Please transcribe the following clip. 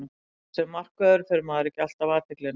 Sem markvörður fær maður ekki alltaf athyglina.